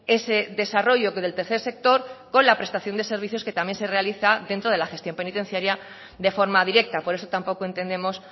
ese desarrollo que del tercer sector con la prestación de servicios que también se realiza dentro de la gestión penitenciaria de forma directa por eso tampoco entendemos